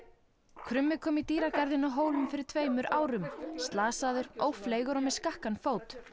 krummi kom í dýragarðinn á Hólum fyrir tveimur árum slasaður ófleygur og með skakkan fót